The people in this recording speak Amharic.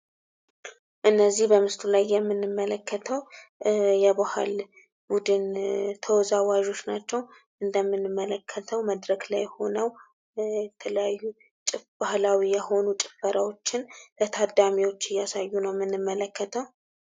እነዚህ በምስሉ ላይ የምንመለከተው የባህል ቡድን ተወዛዋዦች ናቸው። እንደምንመለከተው መድረክ ላይ ሆነው የተለያዩ ባህላዊ የሆኑ ጭፈራዎችን ለታዳሚዎች እያሳዩ ነው ምንመለከተው።